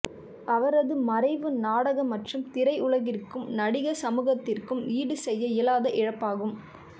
அவரது மறைவு நாடக மற்றும் திரை உலகிற்க்கும் நடிகர் சமூகத்திற்க்கும் ஈடு செய்ய இயலாத இழப்பாகும்